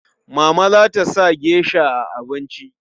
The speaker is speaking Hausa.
Mama za ta sa gesha a abinci.